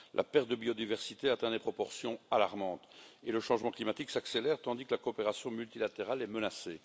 La perte de biodiversité atteint des proportions alarmantes et le changement climatique s'accélère tandis que la coopération multilatérale est menacée.